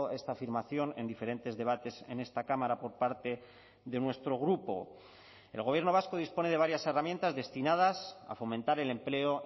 esta afirmación en diferentes debates en esta cámara por parte de nuestro grupo el gobierno vasco dispone de varias herramientas destinadas a fomentar el empleo